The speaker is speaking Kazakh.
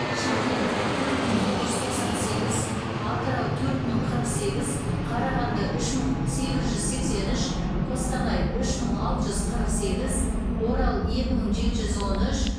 шымкент төрт мың тоғыз жүз тоқсан сегіз атырау төрт мың қырық сегіз қарағанды үш мың сегіз жүз сексен үш қостанай үш мың алты жүз қырық сегіз орал екі мың жеті жүз он үш